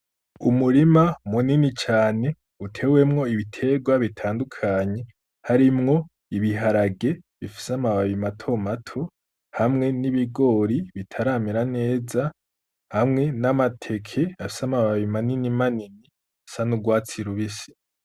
Umurima munini cane utewemwo ibitegwa bitandukanye, harimwo ibiharage bifise amababi mato mato, hamwe n’ibigori bitaramera neza, hamwe n’amateke afise amababi manini manini asa n'urwatsi rubisi.